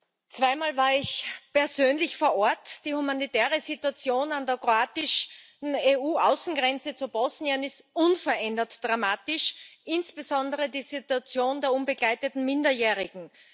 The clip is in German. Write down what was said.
Herr Präsident! Zweimal war ich persönlich vor Ort. Die humanitäre Situation an der kroatischen EU Außengrenze zu Bosnien ist unverändert dramatisch, insbesondere die Situation der unbegleiteten Minderjährigen.